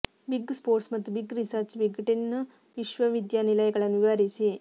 big sports ಮತ್ತು big research big ten ವಿಶ್ವವಿದ್ಯಾನಿಲಯಗಳನ್ನು ವಿವರಿಸಿ